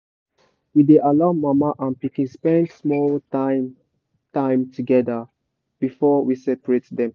we dey allow mama and pikin spend small time time together before we separate dem.